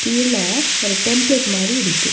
இதுல ஒரு டெம்ப்லேட் மாரி இருக்கு.